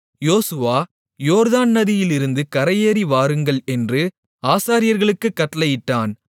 யோசுவா யோர்தான் நதியிலிருந்து கரையேறி வாருங்கள் என்று ஆசாரியர்களுக்குக் கட்டளையிட்டான்